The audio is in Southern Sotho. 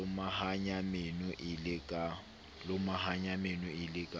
lomahanya meno e le ka